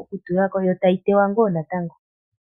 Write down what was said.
okutula ko ,yotayi tewa wo natango.